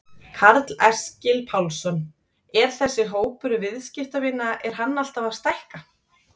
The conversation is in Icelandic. Karl Eskil Pálsson: Er þessi hópur viðskiptavina er hann alltaf að stækka?